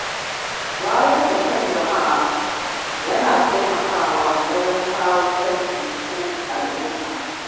Wayar da kan jama’a na taimakawa wajen kawo canji cikin al'umma.